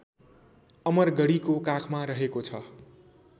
अमरगढीको काखमा रहेको छ